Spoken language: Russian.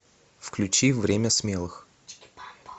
включи время смелых